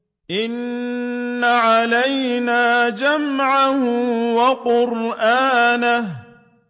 إِنَّ عَلَيْنَا جَمْعَهُ وَقُرْآنَهُ